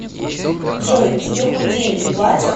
джой тебе хоть деньги платят